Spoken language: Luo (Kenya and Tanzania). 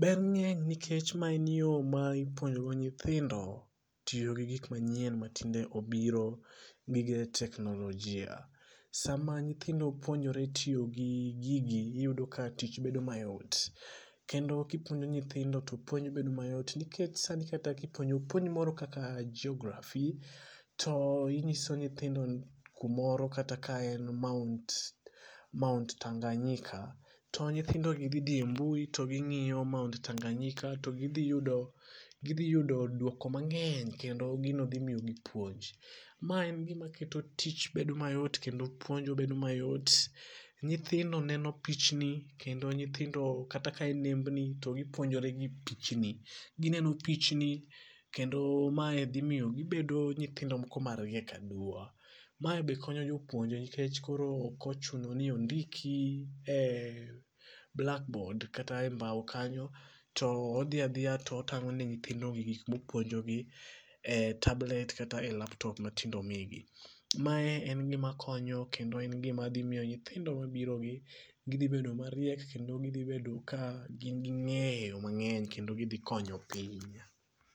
ber ng'eny nikech mae en yoo ma ipuonjogo nyithindo tiyo gi gikmanyien ma tinde obiro, gige teknolojia. Sama nyithindo puonjore tiyo gi gigi iyudo ka tich bedo mayot kendo ka ipuonjo nyithindo to puonj bedo mayot nikech sani kata kipuonjo puonj moro kaka Geography, to inyiso nyithindo kumoro kata ka en Mount Mount Tanganyika to nyithindogi dhi dhii e mbui to ging'iyo Mount Tanganyika to gidhiyudo gidhiyudo duoko mang'eny kendo gino dhimiyogi puonj, mae en gima miyo keto tich bedo mayot kendo puonjo bedo mayot, nyithindo neno pichni kendo nyithindo kata ka en nembni to gipuonjore gi pichni gineno pichni kendo mae dhimiyo gibedo nyithinodo moko mariek aduwa, mae be konyo jopuonje nikech koro okochuno ni ondiki e blackboard kata e [ccs]mbao kanyoi to odhi adhiya to otang'o ne nyithindogi gikma opuonjogi e tablet kata e laptop ma tinde omigi. Mae en gimakonyo kendo en gimadhimiyo nyithindo mabirogi gidhibedo mariek kendo gidhibedo ka gingi ng'eyo mang'eny kendo gidhikonyo piny.